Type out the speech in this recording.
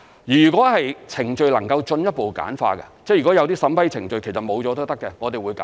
如果程序能夠進一步簡化，即如果有些審批程序其實沒有也可以的，我們會簡化。